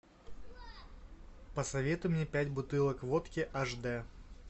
посоветуй мне пять бутылок водки аш д